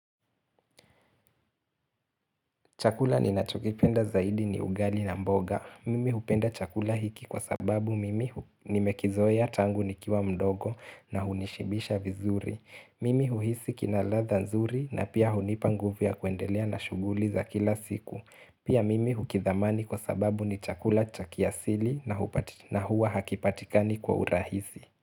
Chakula ninacho kipenda zaidi ni ugali na mboga. Mimi hupenda chakula hiki kwa sababu mimi nimekizoea tangu nikiwa mdogo na hunishibisha vizuri. Mimi huhisi kinaladha nzuri na pia hunipa nguvu ya kuendelea na shughuli za kila siku. Pia mimi hukithamani kwa sababu ni chakula cha kiasili na huwa hakipatikani kwa urahisi.